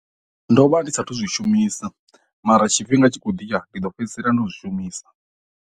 Ndo vha ndi sathu zwishumisa mara tshifhinga tshi khou ḓivha ndi ḓo fhedzisela ndo zwi shumisa.